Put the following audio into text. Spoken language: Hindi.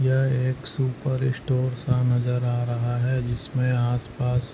यह एक सुपर स्टोर सा नज़र आ रहा है जिसमे आसपास--